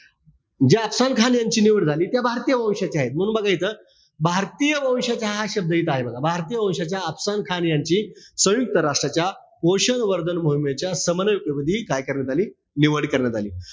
ज्या अफसान खान यांची निवड झाली ते भारतीय वंशाचे आहेत. म्हणून बघा इथं. भारतीय वंशाचे हा शब्द इथे आहे बघा. भारतीय वंशाच्या अफसान खान यांची संयुक्त राष्ट्राच्या पोषण वर्धन मोहिमेच्या समन्वयक पदी काय करण्यात आली? निवड करण्यात आली.